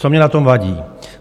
Co mně na tom vadí?